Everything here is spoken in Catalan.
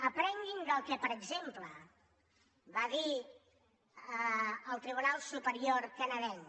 aprenguin del que per exemple va dir el tribunal superior canadenc